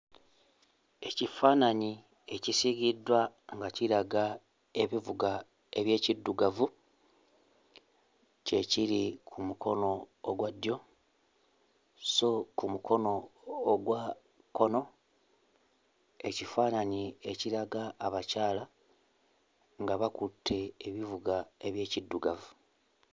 Ekifaananyi ekisiigiddwa nga kiraga ebivuga eby'ekiddugavu kye kiri ku mukono ogwa ddyo sso ku mukono ogwa kkono ekifaananyi ekiraga abakyala nga bakutte ebivuga eby'ekiddugavu.